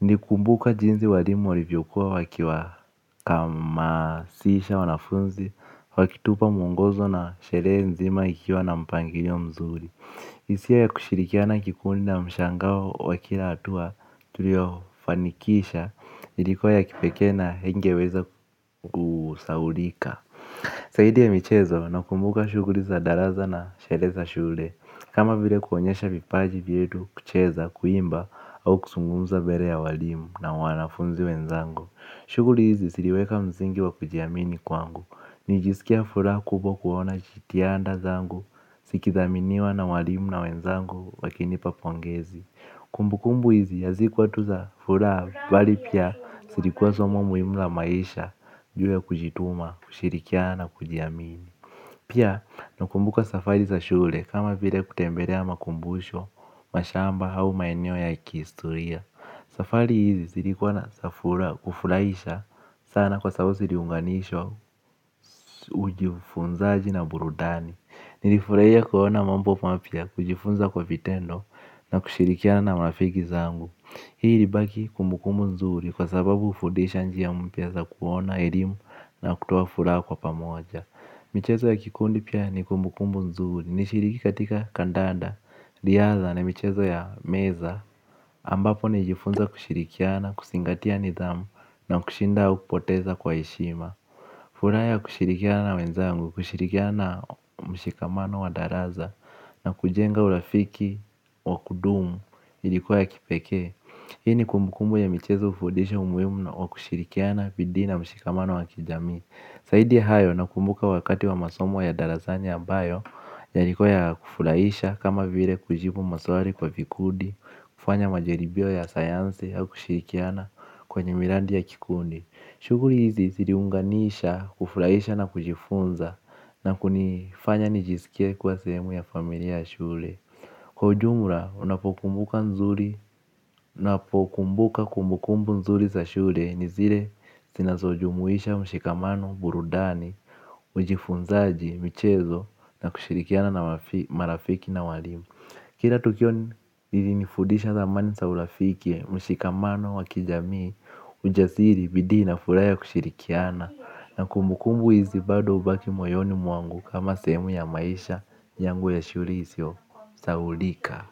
Nili kumbuka jinsi walimu walivyokua waki wahamasisha wanafunzi, wakitupa mwongozo na sheree nzima ikiwa na mpangilio mzuri. Hisia ya kushirikiana kikundi na mshangao wa kila hatua tulio fanikisha ilikua ya kipekee na ingeweza kusahulika zaidi ya michezo nakumbuka shughuli za darasa na sheree za shule. Kama vile kuonyesha vipaji vyetu kucheza kuimba au kuzungumza mbele ya walimu na wanafunzi wenzangu. Shughuli hizi ziliweka msingi wa kujiamini kwangu. Nilijisikia furaha kubwa kuona jitiada zangu zikidhaminiwa na walimu na wenzangu wakinipa pongezi. Kumbukumbu hizi hazikuwa tu za furaha. Bali pia zilikuwa somo muhimu la maisha. Ju ya kujituma, kushirikiana na kujiamini. Pia nakumbuka safari za shule. Kama vile kutembelea makumbusho wa shamba au maeneo ya kihistoria. Safari hizi zilikuwa na kufurahisha sana kwa sababu ziliunganishwa ufunzaji na burudani. Nilifurahia kuona mambo mapya kujifunza kwa vitendo na kushirikiana na marafiki zangu. Hii ilibaki kumbukumbu nzuri kwa sababu hufundisha njia mpya za kuona elimu na kutoa furaha kwa pamoja. Michezo ya kikundi pia ni kumbukumbu nzuri. Nishiriki katika kandanda, ilianza na michezo ya meza ambapo nilijifunza kushirikiana, kuzingatia nidhamu na kushinda kupoteza kwa heshima. Furaha ya kushirikiana na wenzangu, kushirikiana mshikamano wa darasa na kujenga urafiki wakudumu ilikuwa ya kipekee. Hii nikumbukumbu ya michezo kufundisha umuhimu na wakushirikiana bidii na mshikamano wa kijami zaidi hayo nakumbuka wakati wa masomo ya darasani ambayo yalikua ya kufurahisha kama vile kujibu maswali kwa vikundi. Kufanya majaribio ya sayansi au kushirikiana kwenye miradi ya kikundi. Shughuli hizi ziliunganisha kufurahisha na kujifunza na kunifanya nijisikia kuwa sehemu ya familia ya shule. Kwa ujumla unapokumbuka nzuri. Unapokumbuka kumbukumbu nzuri za shule ni zile zinazo jumuisha mshikamano burudani mjifunzaji, michezo na kushirikiana na marafiki na walimu. Kila tukio lilinifundisha dhamani za urafiki. Mshikamano wa kijami. Ujasiri, bidii na, furaha ya kushirikiana na kumbukumbu hizi bado hubaki moyoni mwangu kama sehemu ya maisha yangu ya shule isiyo Sahaulika.